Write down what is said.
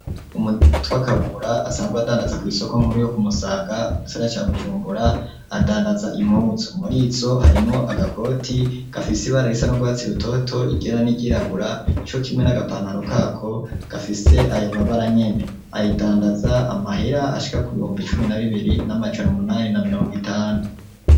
Umuntu yitwa kabura asanzwe adandaza kw’isoko nkuru yo kumusaga mu gisagara ca bujumbura adandaza impuzu ,murizo harimo agakoti gafise ibara risa nu rwatsi rutoto iryera n'iryirabura co kimwe n'agapantaro kako gafise ayo mabara nkene ayidandaza amahira ashika ku bihumbi cumi na bibiri n'amajana munani na mirongo itanu.